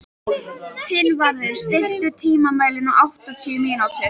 Finnvarður, stilltu tímamælinn á áttatíu mínútur.